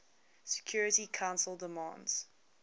security council demands